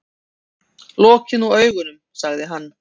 Lokiði nú augunum, sagði hann.